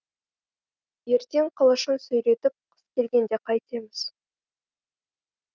ертең қылышын сүйретіп қыс келгенде қайтеміз